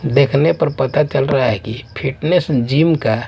देखने पर पता चल रहा है कि फिटनेस जिम का --